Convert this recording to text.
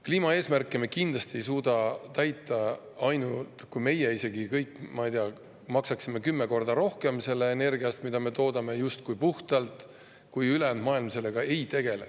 Kliimaeesmärke me kindlasti ei suuda täita – isegi kui me kõik, ma ei tea, maksaksime kümme korda rohkem selle energia eest, mida me toodame justkui puhtalt –, kui ülejäänud maailm sellega ei tegele.